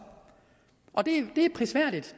og det er prisværdigt